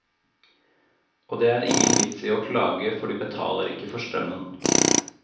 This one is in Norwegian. Og det er ingen vits i å klage, for de betaler ikke for strømmen.